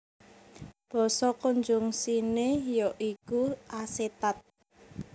Basa konjungsiné ya iku asetat